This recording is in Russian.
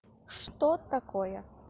что такое